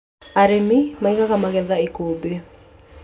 Arĩmi maigaga magetha ikũmbĩ